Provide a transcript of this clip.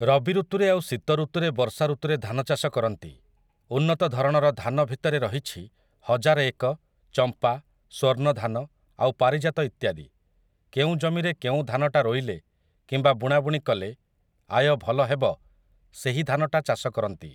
ରବିଋତୁରେ ଆଉ ଶୀତଋତୁରେ ବର୍ଷାଋତୁରେ ଧାନଚାଷ କରନ୍ତି । ଉନ୍ନତ ଧରଣର ଧାନ ଭିତରେ ରହିଛି ହଜାର ଏକ, ଚମ୍ପା, ସ୍ୱର୍ଣ୍ଣଧାନ ଆଉ ପାରିଜାତ ଇତ୍ୟାଦି । କେଉଁ ଜମିରେ କେଉଁ ଧାନଟା ରୋଇଲେ କିମ୍ବା ବୁଣାବୁଣି କଲେ ଆୟ ଭଲ ହେବ ସେହି ଧାନଟା ଚାଷ କରନ୍ତି ।